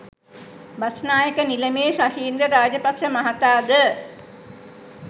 බස්නායක නිලමේ ශෂීන්ද්‍ර රාජපක්ෂ මහතා ද